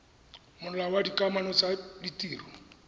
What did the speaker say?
molao wa dikamano tsa ditiro